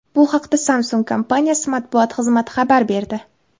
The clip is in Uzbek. Bu haqda Samsung kompaniyasi matbuot xizmati xabar berdi.